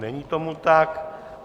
Není tomu tak.